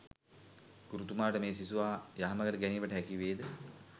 ගුරුතුමාට මේ සිසුවා යහමගට ගැනීමට හැකිවේද?